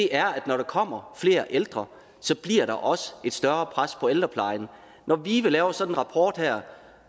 er at når der kommer flere ældre bliver der også et større pres på ældreplejen når vive laver sådan en rapport her